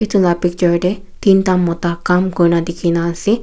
etu lah picture teh tin tah mota kam kuri na dikhi ase.